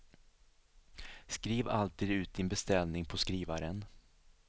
Skriv alltid ut din beställning på skrivaren.